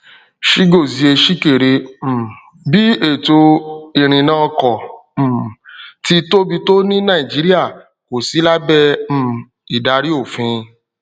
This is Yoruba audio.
chigozie chikere um bí ètò ìrìnnà ọkọ um tí tóbi tó ní nàìjíríà kò sí lábẹ um ìdarí òfin